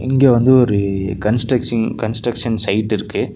இங்கே வந்து ஒரு கன்ஸ்ட்ரக்ஷிங் கன்ஸ்ட்ரக்ஷன் சைட் இருக்கு.